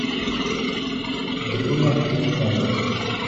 дрюне литвинове